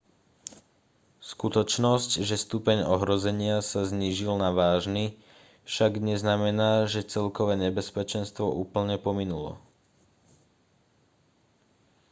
skutočnosť že stupeň ohrozenia sa znížil na vážny však neznamená že celkové nebezpečenstvo úplne pominulo